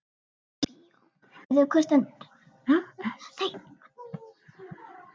Ekki bara í bíó.